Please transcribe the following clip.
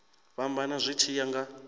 fhambana zwi tshi ya nga